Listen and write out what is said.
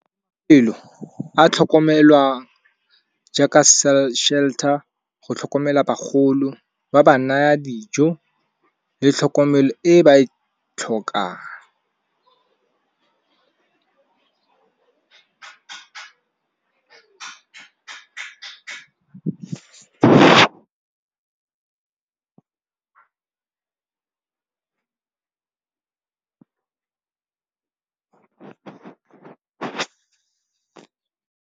Mafelo a tlhokomelwang jaaka shelter, go tlhokomela bagolo ba ba naya dijo le tlhokomelo e e ba e tlhokang.